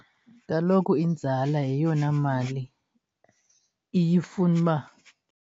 Kaloku inzala yeyona mali iye ifune uba.